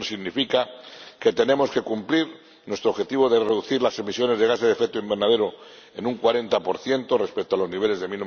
Eso significa que tenemos que cumplir nuestro objetivo de reducir las emisiones de gases de efecto invernadero en un 40 respecto a los niveles de